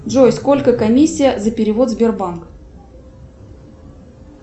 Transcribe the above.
джой сколько комиссия за перевод сбербанк